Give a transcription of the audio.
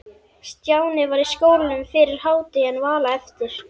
Stjáni var í skólanum fyrir hádegi en Vala eftir.